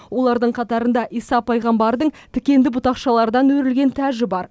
олардың қатарында иса пайғамбардың тікенді бұтақшалардан өрілген тәжі бар